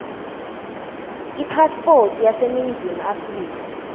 ipasipoti yaseningizimu afrika